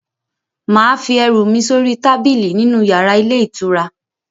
Mà á fi ẹrú mí sori tábìlì nínu yàrá ilé ìtura?